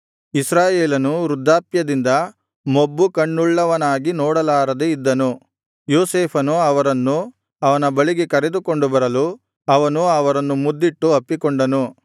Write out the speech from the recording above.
ಇಸ್ರಾಯೇಲನು ವೃದ್ಧಾಪ್ಯದಿಂದ ಮೊಬ್ಬು ಕಣ್ಣುಳ್ಳವನಾಗಿ ನೋಡಲಾರದೆ ಇದ್ದನು ಯೋಸೇಫನು ಅವರನ್ನು ಅವನ ಬಳಿಗೆ ಕರೆದುಕೊಂಡು ಬರಲು ಅವನು ಅವರನ್ನು ಮುದ್ದಿಟ್ಟು ಅಪ್ಪಿಕೊಂಡನು